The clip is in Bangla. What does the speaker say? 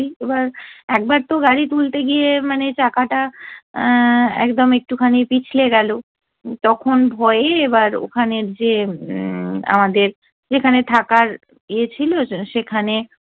এবার একবার তো গাড়ি তুলতে গিয়ে মানে চাকাটা এ্যা একদম একটুখানি পিছলে গেলো তখন ভয়ে এবার ওখানে যে, উম আমাদের যেখানে থাকার ইয়ে ছিলো সেখানে